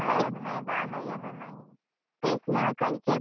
तेच ना कल्चर पुढे जायच्या ऐवजी मागे येत चाललंय.